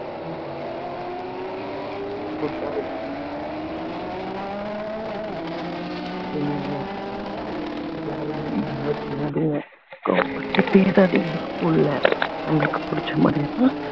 யாரையுமே நீங்க hurt பண்ணாதீங்க கோவ படுத்தி பேசாதீங்க school அ அவங்களுக்கு புடிச்ச மாதிரி